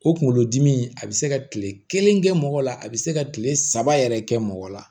O kunkolodimi a bɛ se ka kile kelen kɛ mɔgɔ la a be se ka kile saba yɛrɛ kɛ mɔgɔ la